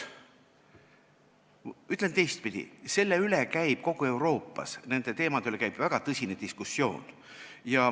Ütlen teistpidi: nende teemade üle käib kogu Euroopas väga tõsine diskussioon.